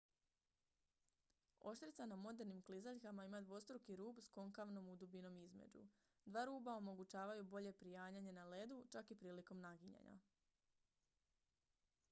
oštrica na modernim klizaljkama ima dvostruki rub s konkavnom udubinom između dva ruba omogućavaju bolje prianjanje na ledu čak i prilikom naginjanja